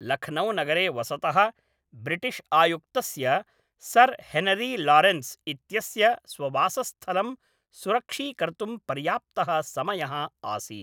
लखनौनगरे वसतः ब्रिटिश्आयुक्तस्य sir Henry Lawrence इत्यस्य स्ववासस्थलं सुरक्षीकर्तुं पर्याप्तः समयः आसीत्।